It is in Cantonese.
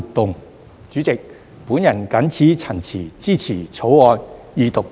代理主席，我謹此陳辭，支持《條例草案》二讀及三讀。